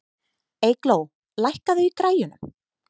Eygló, lækkaðu í græjunum.